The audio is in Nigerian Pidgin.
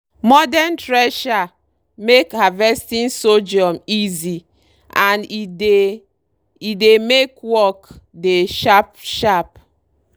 modern thresher make harvesting sorghum easy and e dey e dey make work dey sharp-sharp.